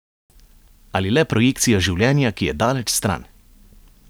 Ali le projekcija življenja, ki je daleč stran?